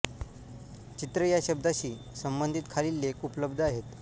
चित्र या शब्दाशी संबंधित खालील लेख उपलब्ध आहेत